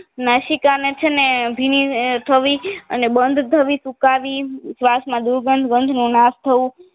નસિકાને છેને ભીની થવી અને બંધ થવી સૂકવી સ્વસમાં દુર્ગંધ બંધનું નાશ થવું